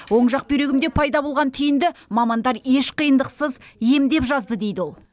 оң жақ бүйрегімде пайда болған түйінді мамандар еш қиындықсыз емдеп жазды дейді ол